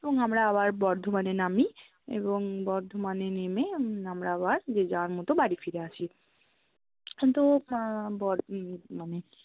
এবং আমরা আবার বর্ধমানে নামি এবং বর্ধমানে নেমে আমরা আবার যে যার মতো বাড়ি ফিরে আসি তো মা, বোর্দি মানে